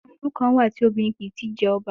Àwọn ìlú kan wà tí obìnrin kìí ti í jẹ ọba.